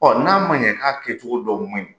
n'a ma ɲɛ k'a kɛcogo dɔw man ɲi,